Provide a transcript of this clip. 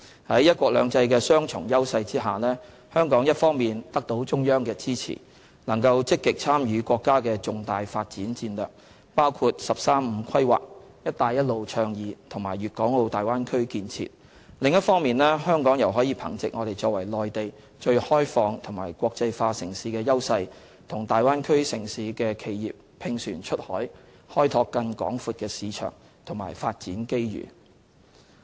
在"一國兩制"的雙重優勢下，香港一方面得到中央的支持，能夠積極參與國家的重大發展戰略，包括"十三五"規劃、"一帶一路"倡議及大灣區建設；另一方面，香港又可憑藉我們作為內地最開放和國際化城市的優勢，與大灣區城市的企業"拼船出海"，開拓更廣闊的市場和發展機遇。